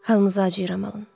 Halınıza acıyıram, Alan.